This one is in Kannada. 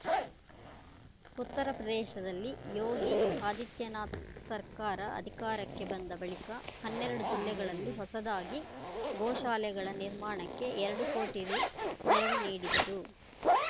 ಉತ್ತರಪ್ರದೇಶದಲ್ಲಿ ಯೋಗಿ ಆದಿತ್ಯನಾಥ್‌ ಸರ್ಕಾರ ಅಧಿಕಾರಕ್ಕೆ ಬಂದ ಬಳಿಕ ಹನ್ನೆರಡು ಜಿಲ್ಲೆಗಳಲ್ಲಿ ಹೊಸದಾಗಿ ಗೋಶಾಲೆಗಳ ನಿರ್ಮಾಣಕ್ಕೆ ಎರಡು ಕೋಟಿ ರು ನೆರವು ನೀಡಿದ್ದರು